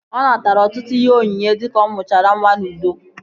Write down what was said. Ọ natara ọtụtụ ihe onyinye dika ọ mụchara nwa n'udo